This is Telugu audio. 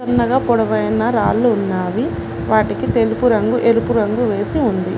చిన్నగా పొడవైన రాళ్లు ఉన్నావి వాటికి తెలుపు రంగు ఎరుపు రంగు వేసి ఉంది.